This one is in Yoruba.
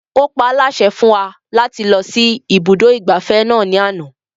Ó paálásẹ fún wa láti lọ sí ibùdó ìgbafẹ́ náà ní àná